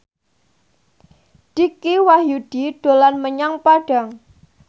Dicky Wahyudi dolan menyang Padang